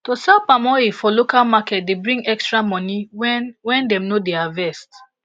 to sell palm oil for local market dey bring extra money when when dem no dey harvest